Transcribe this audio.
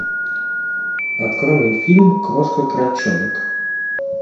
открой мне фильм крошка крольчонок